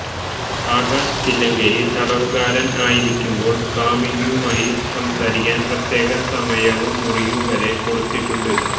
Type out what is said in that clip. ആകാശ് തില്ലങ്കേരി തടവുകാരന് ആയിരിക്കുമ്പോള് കാമുകിയുമായി സംസാരിക്കാന് പ്രത്യേകം സമയവും മുറിയും വരെ കൊടുത്തിട്ടുണ്ട്